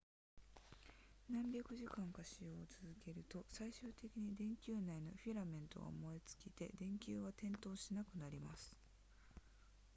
何百時間か使用を続けると最終的に電球内のフィラメントが燃え尽きて電球は点灯しなくなります